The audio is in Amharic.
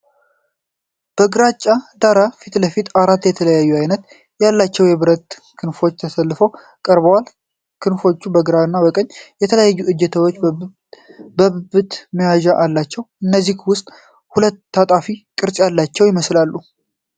ከግራጫ ዳራ ፊት ለፊት አራት የተለያየ ዓይነት ያላቸው የብረት ክራንች ተሰልፈው ቀርበዋል። ክራንቾቹ ከግራ ወደ ቀኝ የተለያዩ እጀታዎችና የብብት መያዣዎች አሏቸው፤ ከእነዚህም ውስጥ ሁለቱ ታጣፊ ቅርጽ ያላቸው ይመስላሉ።